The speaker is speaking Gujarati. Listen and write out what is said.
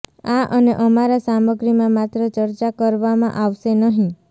આ અને અમારા સામગ્રીમાં માત્ર ચર્ચા કરવામાં આવશે નહીં